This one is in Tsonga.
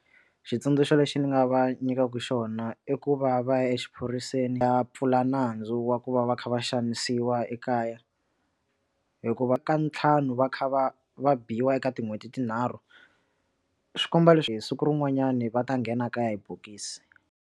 Xitsundzuxo lexi ndzi nga va nyikaka xona i ku va va ya exiphoriseni ya pfula nandzu wa ku va va kha va xanisiwa ekaya hikuva ka ntlhanu va kha va va biwa eka tin'hweti tinharhu swi komba leswi hi siku rin'wanyani va ta nghena kaya hi bokisi.